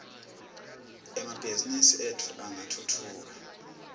emabhizimisi etfu angatfutfuka